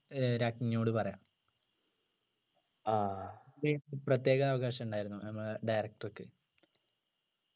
ഏർ രാജ്ഞിയോട് പറയാം പ്രത്യേക അവകാശമുണ്ടായിരുന്നു നമ്മളെ director ക്ക്